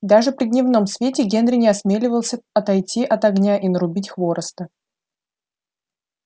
даже при дневном свете генри не осмеливался отойти от огня и нарубить хвороста